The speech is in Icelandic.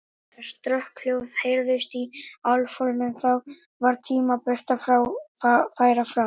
Þegar strokkhljóð heyrðist í álfhólnum, þá var tímabært að færa frá.